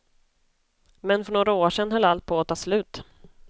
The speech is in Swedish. Men för några år sedan höll allt på att ta slut.